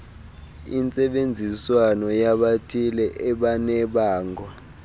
intsebenziswano yabathile ebanebango